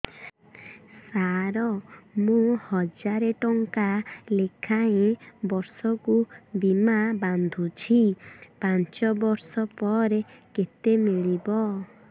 ସାର ମୁଁ ହଜାରେ ଟଂକା ଲେଖାଏଁ ବର୍ଷକୁ ବୀମା ବାଂଧୁଛି ପାଞ୍ଚ ବର୍ଷ ପରେ କେତେ ମିଳିବ